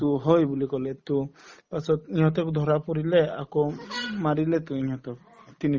to হয় বুলি কলে to পাছত ইহঁতক ধৰা পৰিলে আকৌ উম মাৰিলেতো ইহঁতক তিনি